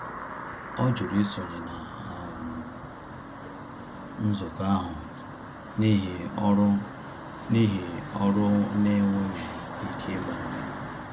Ọ jụrụ isonye na um nzukọ ahụ n’ihi ọrụ n’ihi ọrụ ọ n'enweghi ike ịgbanwe.